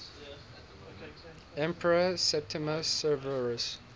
emperor septimius severus